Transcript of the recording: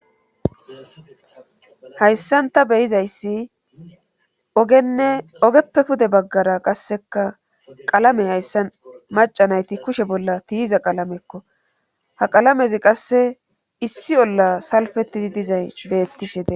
hayssanta beyizayssi ogenne ogeppe pude baggara qasseka qalame hayssa macanayti kushe bolla tiiza qalamekko ha qalamezi qasse issi olla salfetidi dizay beettishe des